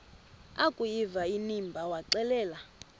akuyiva inimba waxelela